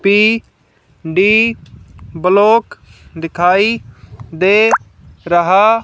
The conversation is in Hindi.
पी_डी ब्लॉक दिखाई दे रहा--